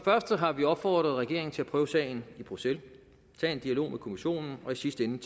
første har vi opfordret regeringen til at prøve sagen i bruxelles tage en dialog med kommissionen og i sidste ende